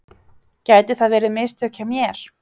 Gæti það verið mistök hjá mér?